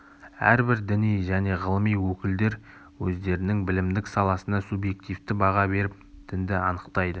әрбір діни және ғылыми өкілдер өздерінің білімдік саласына субъективті баға беріп дінді анықтайды